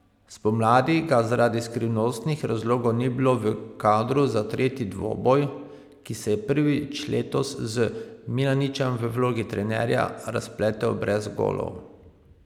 Spomladi ga zaradi skrivnostnih razlogov ni bilo v kadru za tretji dvoboj, ki se je prvič letos z Milaničem v vlogi trenerja razpletel brez golov.